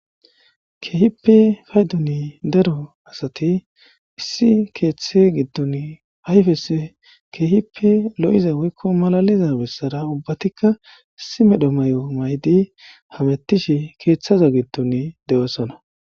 Keehippe paydon daro asati issi keeththe giddon keehippe ayfessi lo7iza malaiza bessara ubbatika issi medho mayo mayidi keeththa giddon de7osona.